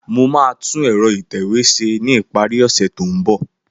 Mo maà tun ẹ̀rọ ìtẹ̀wé se tókàn ìparí.